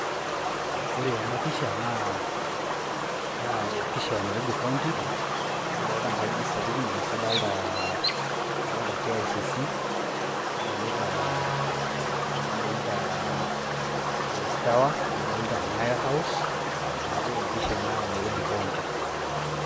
ore ena pisha naa pisha e nairobi county, nadoolta nkajijik sapukin. amu kadoolta, kicc ,nadolita times tower madoolta nyayo house neeku empisha ena e nairobi county